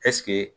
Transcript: Ɛseke